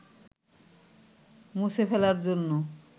মুছে ফেলার জন্য